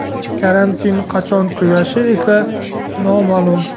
Karantinning qachon tugashi esa noma’lum.